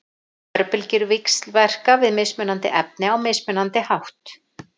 Örbylgjur víxlverka við mismunandi efni á mismunandi hátt.